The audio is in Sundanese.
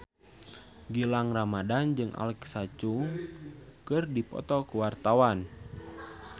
Gilang Ramadan jeung Alexa Chung keur dipoto ku wartawan